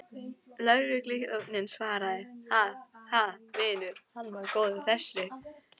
Lögregluþjónninn svaraði, Ha, ha, vinur, hann var góður þessi.